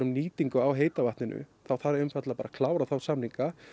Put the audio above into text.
á heita vatninu þá þarf einfaldlega að klára þá samninga